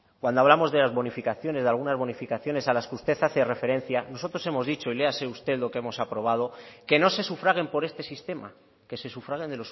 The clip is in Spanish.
cuando hablamos de algunas de las bonificaciones a las que usted hace referencia nosotros hemos dicho y léase usted lo que hemos aprobado que no se sufraguen por este sistema que se sufraguen